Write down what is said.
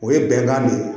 O ye bɛnkan de ye